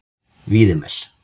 Víðimel